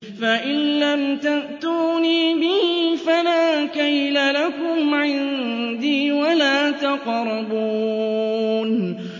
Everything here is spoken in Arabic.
فَإِن لَّمْ تَأْتُونِي بِهِ فَلَا كَيْلَ لَكُمْ عِندِي وَلَا تَقْرَبُونِ